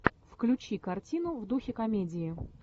включи картину в духе комедии